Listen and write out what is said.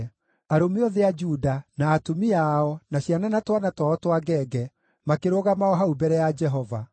Arũme othe a Juda, na atumia ao, na ciana na twana twao twa ngenge, makĩrũgama o hau mbere ya Jehova.